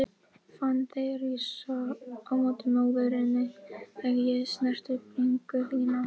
Fann þig rísa á móti móðurinni þegar ég snerti bringu þína.